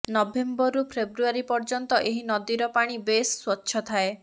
ନଭେମ୍ବରରୁ ଫେବ୍ରୁଆରୀ ପର୍ଯ୍ୟନ୍ତ ଏହି ନଦୀର ପାଣି ବେଶ ସ୍ୱଚ୍ଛ ଥାଏ